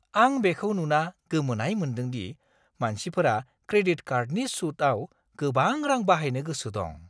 आं बेखौ नुना गोमोनाय मोन्दोंदि मानसिफोरा क्रेडिट कार्डनि सुतआव गोबां रां बाहायनो गोसो दं।